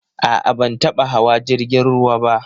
A'a, ban taba hawa jrigin ruwa ba.